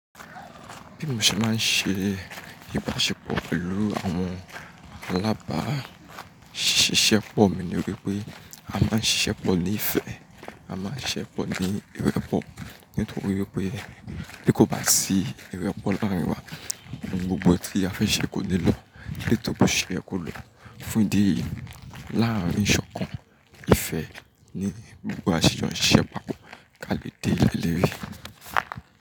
Bi mo ṣe máa ń ṣe ìbáṣepọ̀ pẹ̀lú àwọn alábáṣiṣẹ́pọ̀ mi ni wípé a máa ń ṣiṣẹ́ pọ̀ ní ìfẹ́, a máa ń ṣiṣẹ́ pọ̀ ní ìwẹ́pọ̀. Nítorí wípé bí kò bá sí ìwẹ́pọ̀ láàrín wa, gbogbo tí a fẹ́ ṣe kò ní lọ, ètò tí a fẹ́ ṣe kò lọ. Fún ìdí yìí, láàrín ṣọ̀kan ìfẹ́ ni gbogbo aṣiṣẹ́ máa ń kálẹ̀ dé lórí.